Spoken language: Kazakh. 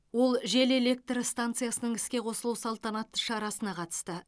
ол жел электр станциясының іске қосылу салтанатты шарасына қатысты